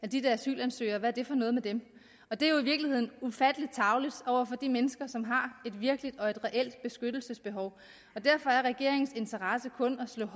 de dér asylansøgere hvad er det for noget med dem og det er jo i virkeligheden ufattelig tarveligt over for de mennesker som virkelig har et reelt beskyttelsesbehov og derfor er regeringens interesse kun at slå